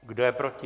Kdo je proti?